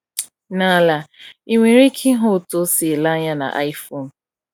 N’ala, ị nwere ike ịhụ otú o si ele anya na iPhone